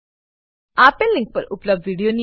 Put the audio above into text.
આપેલ લીંક પર ઉપલબ્ધ વિડીયો નિહાળો